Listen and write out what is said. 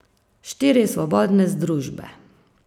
Štiri svobodne združbe.